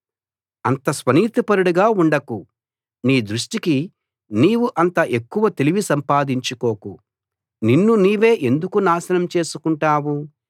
అంత స్వనీతిపరుడుగా ఉండకు నీ దృష్టికి నీవు అంత ఎక్కువ తెలివి సంపాదించుకోకు నిన్ను నీవే ఎందుకు నాశనం చేసుకుంటావు